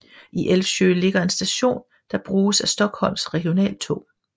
I Älvsjö ligger en station der bruges af Stockholms regionaltog